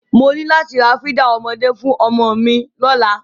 Mo ní láti ra fídà ọmọdé fún ọmọ mi lọ́la.